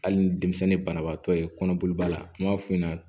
Hali ni denmisɛnnin banabaatɔ ye kɔnɔboli ba la n b'a f'i ɲɛna